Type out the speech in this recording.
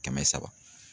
Kɛmɛ saba